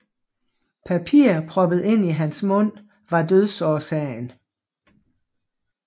Papir proppet ind i hans mund var dødsårsagen